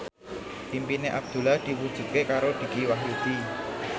impine Abdullah diwujudke karo Dicky Wahyudi